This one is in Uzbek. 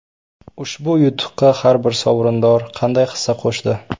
Ushbu yutuqqa har bir sovrindor qanday hissa qo‘shdi?